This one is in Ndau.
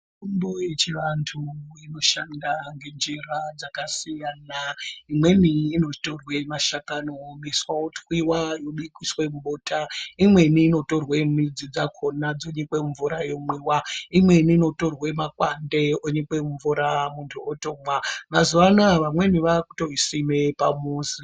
Mitombo yechivantu inoshanda ngenjira dzakasiyana. Imweni inotorwe mashakani oomeswa, otwiwa, oiswe mubota. Imweni inotorwe midzi dzakhona dzonyikwe mumvura yomwiwa. Imweni inotorwe makwande onyikwe mumvura muntu otomwa. Mazuwa anoya vamweni vaakutoisime pamuzi.